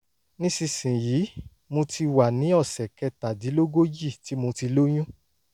nísinsìnyí mo ti wà ní ọ̀sẹ̀ kẹtàdínlógójì tí mo ti lóyún